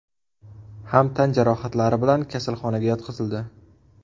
ham tan jarohatlari bilan kasalxonaga yotqizildi.